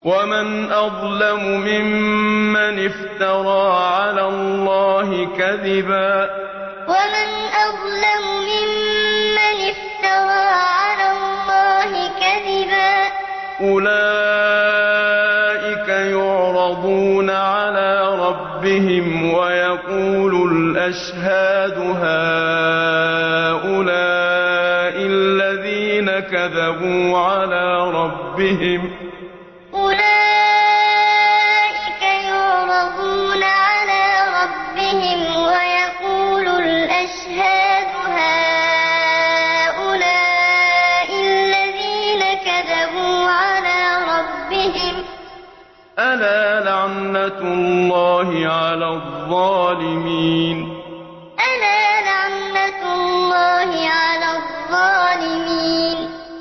وَمَنْ أَظْلَمُ مِمَّنِ افْتَرَىٰ عَلَى اللَّهِ كَذِبًا ۚ أُولَٰئِكَ يُعْرَضُونَ عَلَىٰ رَبِّهِمْ وَيَقُولُ الْأَشْهَادُ هَٰؤُلَاءِ الَّذِينَ كَذَبُوا عَلَىٰ رَبِّهِمْ ۚ أَلَا لَعْنَةُ اللَّهِ عَلَى الظَّالِمِينَ وَمَنْ أَظْلَمُ مِمَّنِ افْتَرَىٰ عَلَى اللَّهِ كَذِبًا ۚ أُولَٰئِكَ يُعْرَضُونَ عَلَىٰ رَبِّهِمْ وَيَقُولُ الْأَشْهَادُ هَٰؤُلَاءِ الَّذِينَ كَذَبُوا عَلَىٰ رَبِّهِمْ ۚ أَلَا لَعْنَةُ اللَّهِ عَلَى الظَّالِمِينَ